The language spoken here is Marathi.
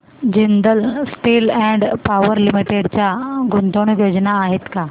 Jindal steel and power limited च्या गुंतवणूक योजना आहेत का